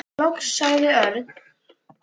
Loks sagði Örn.